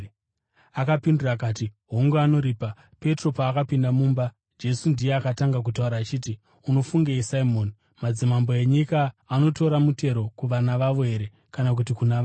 Akapindura akati, “Hongu, anoripa.” Petro paakapinda mumba, Jesu ndiye akatanga kutaura achiti, “Unofungei, Simoni? Madzimambo enyika anotora mutero kuvana vavo here kana kuti kuna vamwe?”